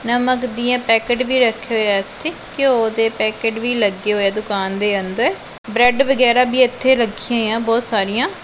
ਨਮਕ ਦੀਆਂ ਪੈਕਟ ਵੀ ਰੱਖੇ ਹੋਏ ਆ ਇਥੇ ਘਿਓ ਦੇ ਪੈਕਟ ਵੀ ਲੱਗੇ ਹੋਏ ਦੁਕਾਨ ਦੇ ਅੰਦਰ ਬਰੈਡ ਵਗੈਰਾ ਵੀ ਇੱਥੇ ਰੱਖੀਆਂ ਹੋਈਆਂ ਬਹੁਤ ਸਾਰੀਆਂ।